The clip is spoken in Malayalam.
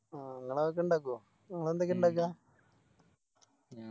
ആ ഇങ്ങളതൊക്കെ ഇണ്ടക്കോ വേറെന്തൊക്കെയാ ഇണ്ടക്ക